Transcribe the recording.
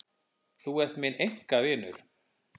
Þú ert minn einkavinur.